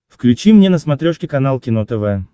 включи мне на смотрешке канал кино тв